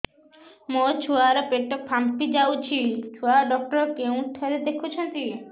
ମୋ ଛୁଆ ର ପେଟ ଫାମ୍ପି ଯାଉଛି ଛୁଆ ଡକ୍ଟର କେଉଁ ଘରେ ଦେଖୁ ଛନ୍ତି